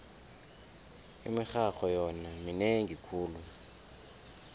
imirharho yona minengi khulu